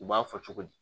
U b'a fɔ cogo di